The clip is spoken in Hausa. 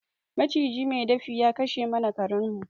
Maciji mai dafi ya kashe mana karen mu